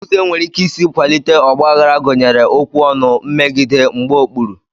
Ụzọ e nwere ike isi kwalite ọgbaghara gụnyere okwu ọnụ, mmegide, mgbaokpuru